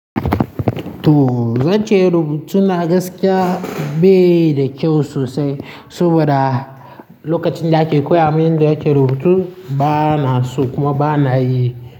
To zance rubutu na gaskiya bai da kyau sosai saboda lokacin da ake koya wa min yadda ake rubutu bana so kuma bana yi.